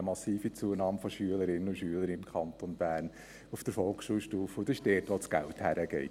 Wir haben eine massive Zunahme der Anzahl Schülerinnen und Schüler im Kanton Bern auf der Volksschulstufe, und dorthin geht das Geld.